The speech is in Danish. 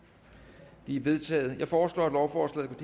er vedtaget jeg foreslår at lovforslaget